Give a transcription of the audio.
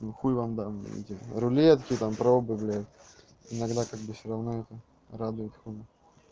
ну хуй вам дам эти рулетки там пробы блядь иногда как бы всё равно это радует как бы